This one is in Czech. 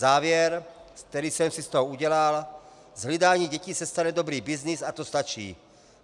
Závěr, který jsem si z toho udělal: z hlídání dětí se stane dobrý byznys a to stačí.